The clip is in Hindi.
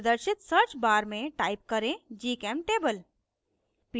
प्रदर्शित search bar में type करें gchemtable